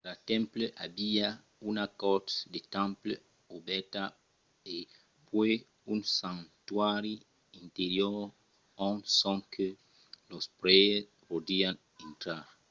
cada temple aviá una cort de temple obèrta e puèi un santuari interior ont sonque los prèires podián intrar